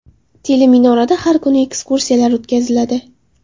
Teleminorada har kuni ekskursiyalar o‘tkaziladi.